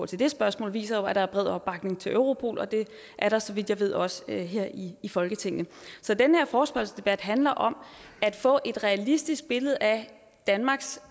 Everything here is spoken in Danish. til det spørgsmål viser jo at der er bred opbakning til europol og det er der så vidt jeg ved også her i folketinget så den her forespørgselsdebat handler om at få et realistisk billede af danmarks